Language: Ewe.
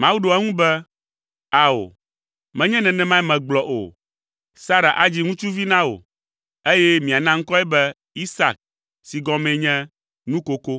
Mawu ɖo eŋu be, “Ao, menye nenemae megblɔ o. Sara adzi ŋutsuvi na wò, eye miana ŋkɔe be, Isak si gɔmee nye ‘Nukoko.’